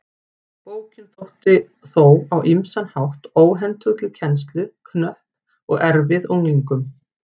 Bókin þótti þó á ýmsan hátt óhentug til kennslu, knöpp og erfið unglingum.